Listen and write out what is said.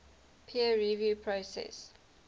peer review process